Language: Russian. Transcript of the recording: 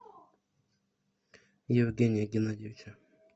евгения геннадьевича